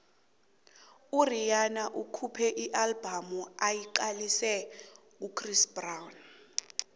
urhihana ukhuphe ialbum ayiqalise kuchris brown